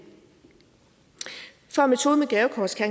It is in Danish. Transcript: for at metoden med gavekort skal